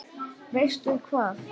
Veistu hvað?